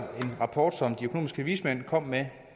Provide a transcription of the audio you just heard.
en rapport som de økonomiske vismænd kom med